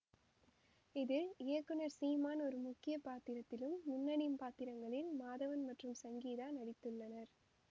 இதில் இயக்குனர் சீமான் ஒரு முக்கிய பாத்திரத்திலும் முன்னணி பாத்திரங்களில் மாதவன் மற்றும் சங்கீதா நடித்துள்ளனர்